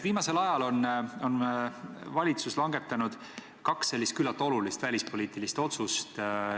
Viimasel ajal on valitsus langetanud kaks küllaltki olulist välispoliitilist otsust.